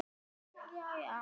En hvaða gjöld eru þetta?